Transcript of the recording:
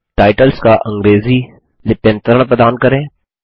titles का अंग्रेजी लिप्यंतरण प्रदान करें